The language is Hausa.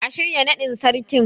A shirya naɗin Sarkin.